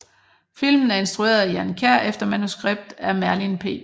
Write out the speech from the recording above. Filmen er instrueret af Jan Kjær efter manuskript af Merlin P